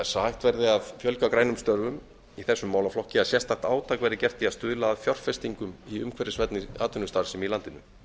hægt verði að fjölga grænum störfum í þessum málaflokki að sérstakt átak verði gert í að stuðla að fjárfestingum í umhverfisvænni atvinnustarfsemi í landinu